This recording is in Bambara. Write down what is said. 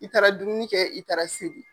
I taara dumuni kɛ i taara seli.